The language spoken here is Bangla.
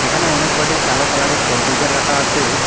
এখানে অনেক কয়টি কালো কালার -এর কম্পিউটার রাখা আছে।